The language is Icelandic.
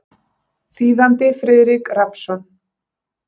Þýðandi Friðrik Rafnsson.